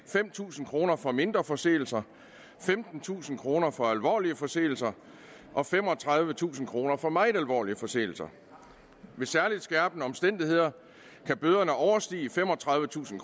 fem tusind kroner for mindre forseelser femtentusind kroner for alvorlige forseelser og femogtredivetusind kroner for meget alvorlige forseelser ved særligt skærpende omstændigheder kan bøderne overstige femogtredivetusind